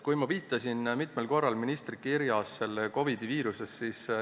Ma olen täna mitmel korral viidanud, et ministri kirjas puudutati koroonaviirust.